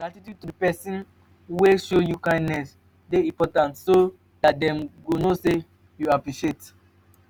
gratitude to persin wey show you kindness de important so that dem go know say you appreciate